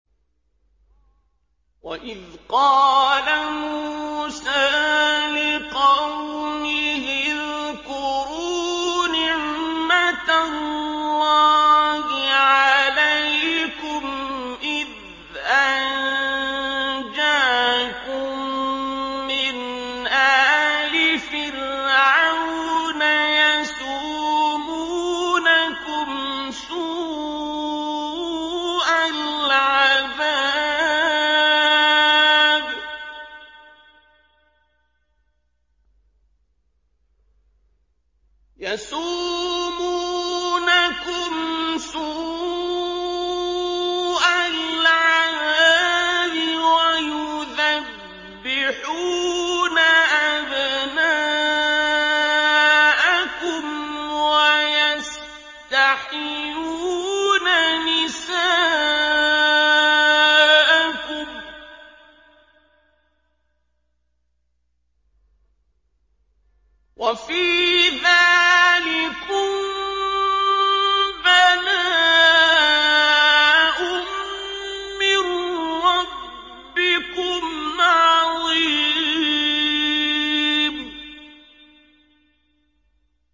وَإِذْ قَالَ مُوسَىٰ لِقَوْمِهِ اذْكُرُوا نِعْمَةَ اللَّهِ عَلَيْكُمْ إِذْ أَنجَاكُم مِّنْ آلِ فِرْعَوْنَ يَسُومُونَكُمْ سُوءَ الْعَذَابِ وَيُذَبِّحُونَ أَبْنَاءَكُمْ وَيَسْتَحْيُونَ نِسَاءَكُمْ ۚ وَفِي ذَٰلِكُم بَلَاءٌ مِّن رَّبِّكُمْ عَظِيمٌ